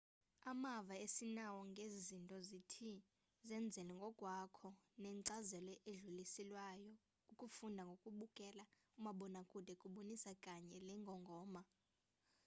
amava esinawo ngezi zinto zithi zenzele ngokwakho nenkcazelo edluliselwayo ukufunda ngokubukela umabonakude kubonisa kanye le ngongoma